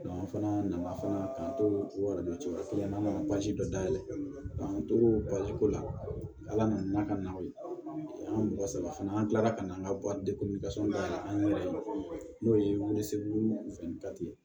an fana nana k'an to o kelen na an nana dɔ dayɛlɛ k'an to ko la ala nana n'a ka na ye an ka mɔgɔ saba fana an kilala ka na an ka an yɛrɛ n'o ye segu ye